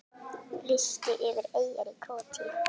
Listi yfir eyjar í Króatíu